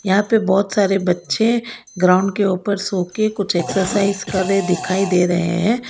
यहां पे बहोत सारे बच्चे ग्राउंड के ऊपर सो के कुछ एक्सरसाइज करे दिखाई दे रहे हैं।